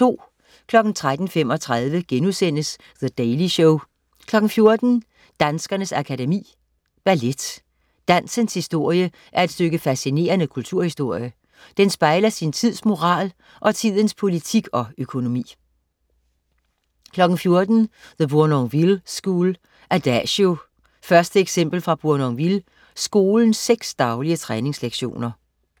13.35 The Daily Show* 14.00 Danskernes Akademi. Ballet. Dansens historie er et stykke fascinerende kulturhistorie. Den spejler sin tids moral, og tidens politik og økonomi 14.00 The Bournonville School: "Adagio" 1. eksempel fra Bournonville Skolens seks daglige træningslektioner